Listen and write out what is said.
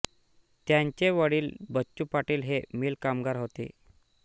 त्यांचे वडील बच्चू पाटील हे मिल कामगार होते